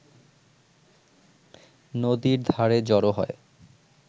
নদীর ধারে জড় হয়